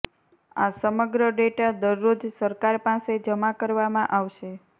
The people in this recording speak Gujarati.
આ સમગ્ર ડેટા દરરોજ સરકાર પાસે જમા કરવામાં આવશે